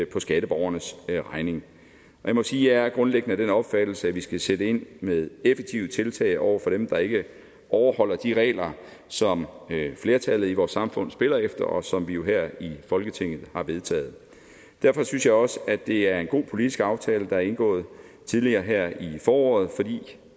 på skatteborgernes regning jeg må sige at jeg grundlæggende er af den opfattelse at vi skal sætte ind med effektive tiltag over for dem der ikke overholder de regler som flertallet i vores samfund spiller efter og som vi jo her i folketinget har vedtaget derfor synes jeg også at det er en god politisk aftale der er indgået tidligere her i foråret fordi